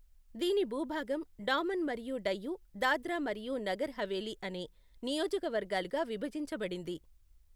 దీని భూభాగం డామన్ మరియు డయ్యూ, దాద్రా మరియు నగర్ హవేలీ అనే నియోజకవర్గాలుగా విభజించబడింది.